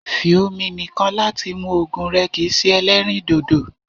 fí omi nìkàn láti mù òògùn rẹ̀ kìí ṣe èlẹrīndòdò